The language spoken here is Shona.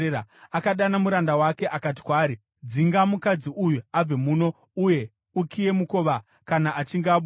Akadana muranda wake akati kwaari, “Dzinga mukadzi uyu abve muno uye ukiye mukova kana achinge abuda.”